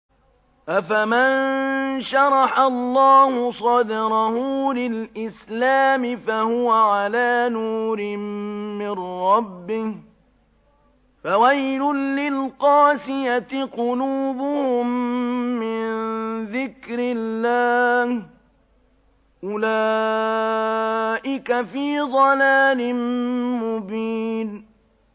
أَفَمَن شَرَحَ اللَّهُ صَدْرَهُ لِلْإِسْلَامِ فَهُوَ عَلَىٰ نُورٍ مِّن رَّبِّهِ ۚ فَوَيْلٌ لِّلْقَاسِيَةِ قُلُوبُهُم مِّن ذِكْرِ اللَّهِ ۚ أُولَٰئِكَ فِي ضَلَالٍ مُّبِينٍ